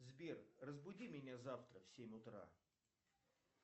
сбер разбуди меня завтра в семь утра